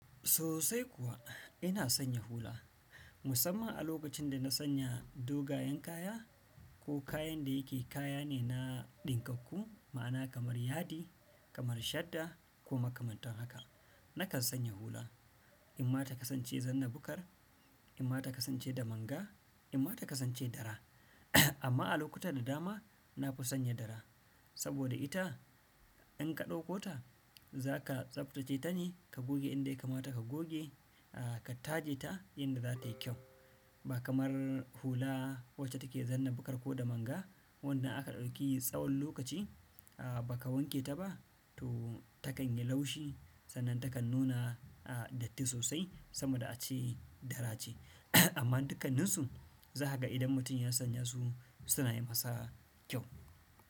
Sosai kuwa ina sanya hula, musamman a lokacin da na sanya dogayen kaya ko kayan da yake kaya ne na ɗinkakku, ma'ana kamar yadi, kamar shadda ko makamantan haka. Nakan sanya hula, imma ta kasance zanna bukar, imma ta kasance da manga, imma ta kasance dara. Amma a lokutan da dama na fi sanya dara, saboda ita in ka ɗauko ta za ka tsaftace ta ne ka goge inda ya kamata ka goge, ka take ta yadda za ta yi kyau. Ba kamar hula wacce take zanna bukar ko da manga, wannan aka ɗauki tsawon lokaci ba ka wanke ta ba to ta kan yi laushi, sannan ta kan nuna datti sosai saboda ace dara ce. Amma dukkanninsu za ka ga idan mutum ya sanya su suna yi masa kyau.